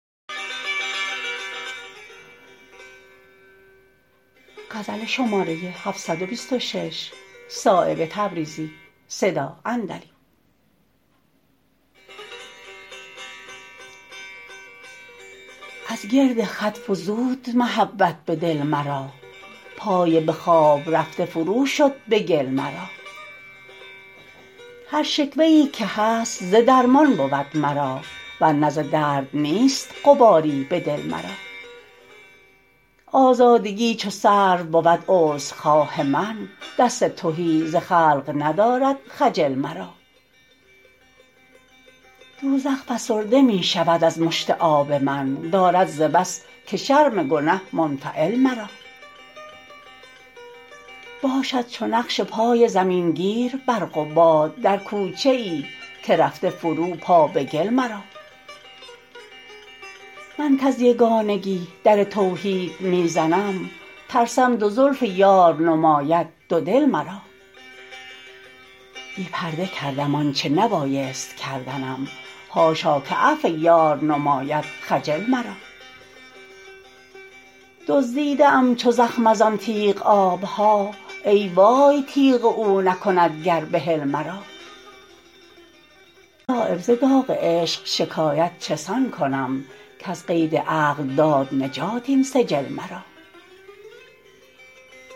از گرد خط فزود محبت به دل مرا پای به خواب رفته فرو شد به گل مرا هر شکوه ای که هست ز درمان بود مرا ورنه ز درد نیست غباری به دل مرا آزادگی چو سرو بود عذرخواه من دست تهی ز خلق ندارد خجل مرا دوزخ فسرده می شود از مشت آب من دارد ز بس که شرم گنه منفعل مرا باشد چو نقش پای زمین گیر برق و باد در کوچه ای که رفته فرو پا به گل مرا من کز یگانگی در توحید می زنم ترسم دو زلف یار نماید دو دل مرا بی پرده کردم آنچه نبایست کردنم حاشا که عفو یار نماید خجل مرا دزدیده ام چو زخم ازان تیغ آبها ای وای تیغ او نکند گر بحل مرا صایب ز داغ عشق شکایت چسان کنم کز قید عقل داد نجات این سجل مرا